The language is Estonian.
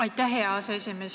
Aitäh, hea aseesimees!